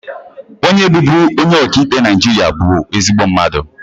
Onye bụbu onye ọka ikpe Naịjirịa bụ ezigbo mmadụ